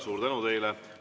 Suur tänu teile!